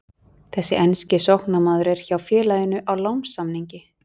Þessi enski sóknarmaður er hjá félaginu á lánssamningi.